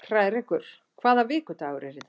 Hrærekur, hvaða vikudagur er í dag?